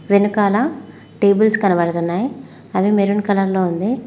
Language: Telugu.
వెనకాల టేబుల్స్ కనబడుతున్నాయ్ అవి మెరూన్ కలర్ లో ఉంది.